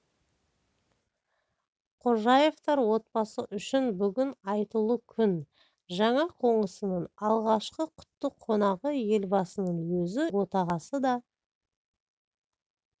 хожаевтар отбасы үшін бүгін айтулы күн жаңа қонысының алғашқы құтты қонағы елбасының өзі үйдің отағасы да